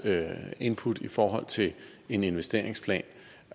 input i forhold til en investeringsplan